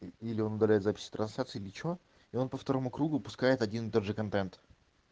или он удаляет записи трансляции или чего и он по второму кругу пускает один даже контент